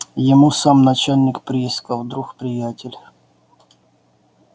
ему сам начальник приисков друг приятель